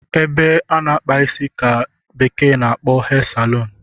Ebe ana akpa isi ka bekee kporo Hair saloon